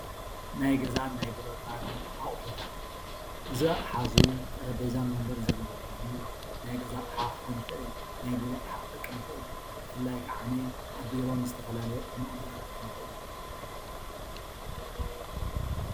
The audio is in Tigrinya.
ናይ ገዛን ናይ ቢሮን ኣቑሑታት እዚ ኣቕሓ እዙይ ጠረጴዛን ወንበርን ዘለዎ ኮይኑ ናይ ገዛ ኣቕሓ ክኾን ይኽእል። ናይ ቢሮ ኣቕሓ ክጠቅም ይክእል። ብፍላይ ክዓኒ ኣብ ቢሮ ንዝተፈላለዩ ኣቑሑ እዉን ክጠቅም ይኽእል እዩ።